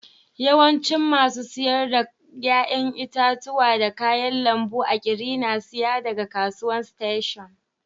Yawancin masu sayar da yayan itatuwa da kayan lambu a'kiri na saya daga kasuwan station.